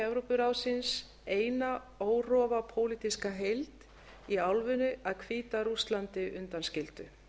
evrópuráðsins eina órofa pólitíska heild í álfunni að hvíta rússlandi undanskildu